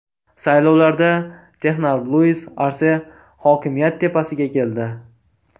Saylovlarda texnar Luis Arse hokimiyat tepasiga keldi.